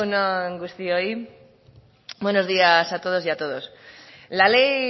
egun on guztioi buenos días a todas y todos la ley